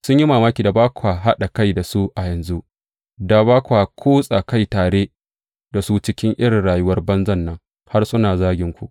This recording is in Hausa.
Sun yi mamaki da ba kwa haɗa kai da su a yanzu, da ba kwa kutsa kai tare da su cikin irin rayuwar banzan nan, har suna zaginku.